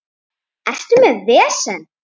Ertu með vesen?